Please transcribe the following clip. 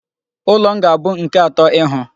Ụlọ m ga-abụ nke atọ ịhụ.